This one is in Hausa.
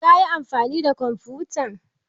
Kayi amfani da kwamfutan?